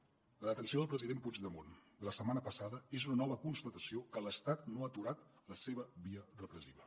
la detenció del president puigdemont de la setmana passada és una nova constatació que l’estat no ha aturat la seva via repressiva